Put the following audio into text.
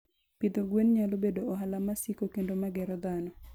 Pidho gwen nyalo bedo ohala masiko kendo magero dhano.